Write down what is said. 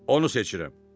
Onu seçirəm.